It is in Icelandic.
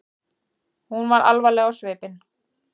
Hún var alvarleg á svipinn.